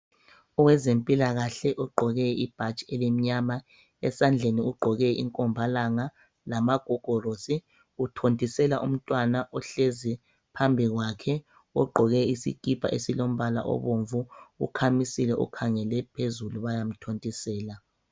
Owezempilakahle ogqoke ibhatshi elimnyama. Esandleni ugqoke inkombalanga lamagogorosi uthontisela umntwana ohlezi phambi kwakhe ogqoke isikipa esilombala obomvu ukhamisile ukhangele phezulu bayamthontisela.